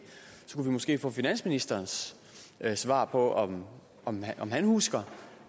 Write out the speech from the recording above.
så kunne vi måske få finansministerens svar på om han husker